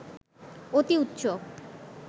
অতি উচ্চ